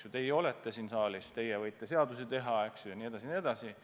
Teie olete seda siin saalis, teie võite seadusi teha jne, jne.